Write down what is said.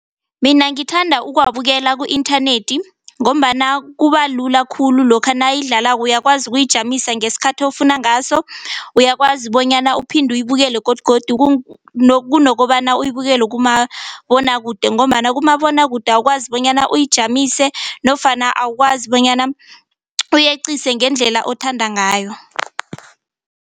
Mina ngithanda ukuwabukela ku-inthanethi ngombana kubalula khulu lokha nayidlalako uyakwazi ukuyijamisa ngesikhathi ofuna ngaso, uyakwazi bonyana uphinde uyibukele godugodu kunokobana uyibukele kumabonwakude ngombana kumabonwakude awukwazi bonyana uyijamise nofana awukwazi bonyana uyeqise ngendlela othanda ngayo.